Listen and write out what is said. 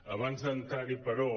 abans d’entrar·hi però